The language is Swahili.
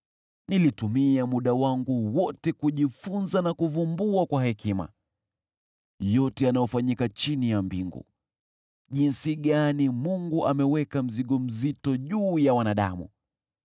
Nilitumia muda wangu wote kujifunza na kuvumbua kwa hekima yote yanayofanyika chini ya mbingu. Jinsi gani Mungu ameweka mzigo mzito juu ya wanadamu!